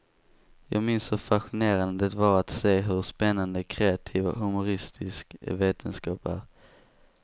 Jag minns hur fascinerande det var att se hur spännande, kreativ och humoristisk vetenskap är.